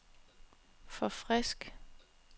forfrisk